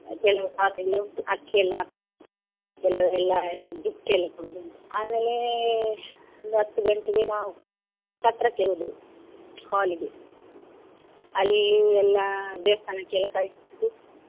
ಕೆಲವು ಶಾಸ್ತ್ರ ಎಲ್ಲ ಉಂಟು ಅಕ್ಕಿಯೆಲ್ಲ ಕೆಲವರು ಎಲ್ಲ ಎಲ್ಲ gift ಎಲ್ಲ ಕೊಡುದು ಉಂಟು. ಆಮೇಲೆ ಒಂದು ಹತ್ತು ಗಂಟೆಗೆ ನಾವು ಛತ್ರಕ್ಕೆ ಹೋದೆವು, ನಾವು ಛತ್ರಕ್ಕೆ ಹೋದೆವು hall ಇಗೆ, ಅಲ್ಲಿ ಎಲ್ಲ ದೇವಸ್ಥಾನಕ್ಕೆ ಎಲ್ಲ ಕೈಮುಗ್ದು.